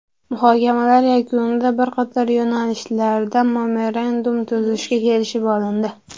Muhokamalar yakunida bir qator yo‘nalishlarda memorandum tuzishga kelishib olindi.